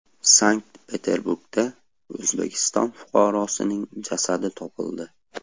Sankt-Peterburgda O‘zbekiston fuqarosining jasadi topildi.